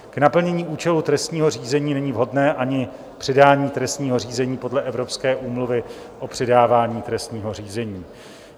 K naplnění účelu trestního řízení není vhodné ani předání trestního řízení podle Evropské úmluvy o předávání trestního řízení.